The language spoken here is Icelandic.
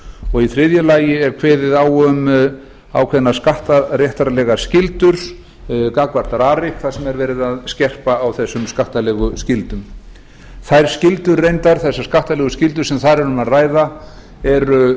og í þriðja lagi er kveðið á um ákveðnar skattaréttarlegar skyldur gagnvart rarik þar sem er verið að skerpa á þessum skattalegu skyldum þessar skattalegu skyldur sem þar er um að ræða eru